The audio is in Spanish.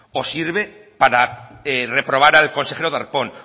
o sirve para reprobar al consejero darpón